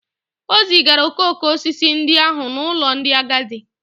O zigara okoko osisi ndị ahụ n'ụlọ ndị agadi